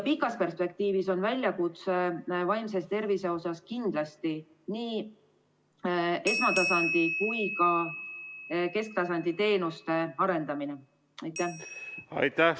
Pikas perspektiivis tuleb vaimse tervise teemade puhul kindlasti arendada nii esmatasandi kui ka kesktasandi teenuseid.